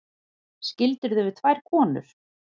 Skildirðu við tvær konur?